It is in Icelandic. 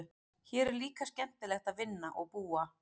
Hér er líka skemmtilegt að vinna og búa.